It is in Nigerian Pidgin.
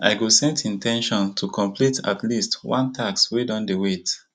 i go set in ten tion to complete at least one task wey don dey wait